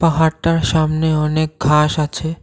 পাহাড়টার সামনে অনেক ঘাস আছে।